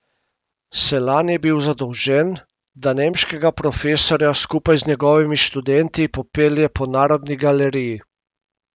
Selan je bil zadolžen, da nemškega profesorja skupaj z njegovimi študenti popelje po Narodni galeriji.